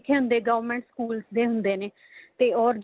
ਹੁੰਦੇ government schools ਦੇ ਹੁੰਦੇ ਨੇ ਤੇ or